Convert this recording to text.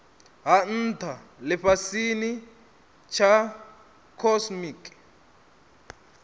ha ntha lifhasini tsha cosmic